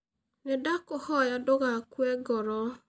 Nĩndakũhoya ndũgakue ngoro.